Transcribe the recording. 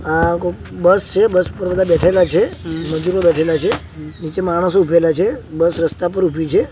આ બસ છે બસ પર બધા બેઠેલા છે મજૂરો બેઠેલા છે નીચે માણસો ઊભેલા છે બસ રસ્તા પર ઊભી છે.